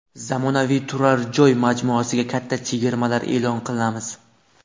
Zamonaviy turar joy majmuasiga katta chegirmalar e’lon qilamiz.